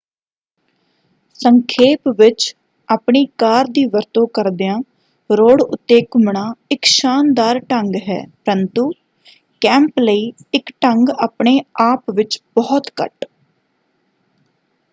ਸੰਖੇਪ ਵਿੱਚ ਆਪਣੀ ਕਾਰ ਦੀ ਵਰਤੋਂ ਕਰਦਿਆਂ ਰੋਡ ਉੱਤੇ ਘੁੰਮਣਾ ਇਕ ਸ਼ਾਨਦਾਰ ਢੰਗ ਹੈ ਪਰੰਤੂ ਕੈਂਪ ਲਈ ਇਕ ਢੰਗ ਆਪਣੇ-ਆਪ ਵਿੱਚ ਬਹੁਤ ਘੱਟ।